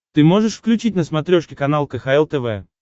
ты можешь включить на смотрешке канал кхл тв